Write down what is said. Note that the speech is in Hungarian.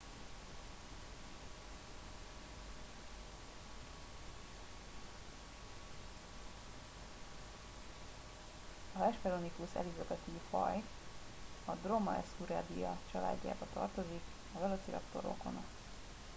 a hesperonychus elizabethae faj a dromaeosauridae családjába tartozik a velociraptor rokona